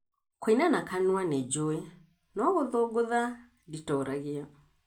Kũina nakanua nĩ njũĩ no gũthũngũtha nditoragia